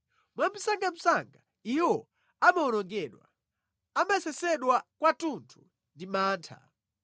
Mwamsangamsanga iwo amawonongedwa, amasesedwa kwathunthu ndi mantha!